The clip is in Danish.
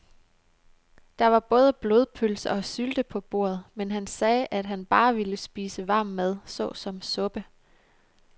Der var både blodpølse og sylte på bordet, men han sagde, at han bare ville spise varm mad såsom suppe.